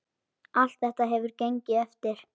Allt þetta hefur gengið eftir.